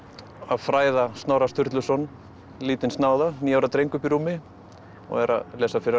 fræða Snorra Sturluson lítinn níu ára dreng uppi í rúmi og er að lesa fyrir hann